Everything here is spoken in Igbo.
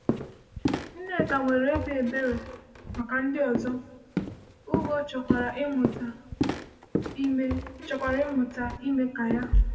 Nneka nwere obi ebere maka ndị ọzọ, Uwgo chọrọkwa ịmụta ime chọrọkwa ịmụta ime ka ya.